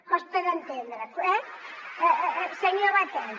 costa d’entendre eh senyor batet